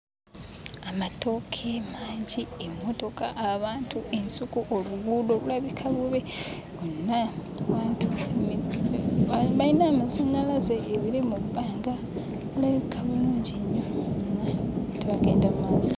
Amatooke mangi, emmotoka, abantu, ensuku obuguudo bulabika bubi bwonna. Abantu bayina amazannyalaze. Ebire mu bbanga birabika bulungi nnyo ate bagenda mu maaso.